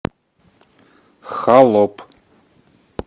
холоп